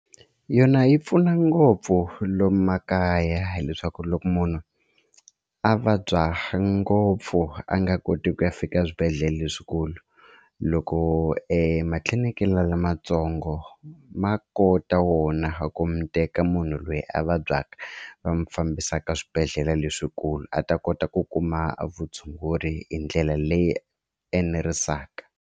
Yona yi pfuna ngopfu lomu makaya hileswaku loko munhu a vabya ngopfu a nga koti ku ya fika eswibedhlele leswikulu loko matliliniki la lamatsongo ma kota wona ku mi teka munhu loyi a vabyaka va mi fambisaka swibedhlele leswikulu a ta kota ku kuma vutshunguri hi ndlela leyi enerisaka.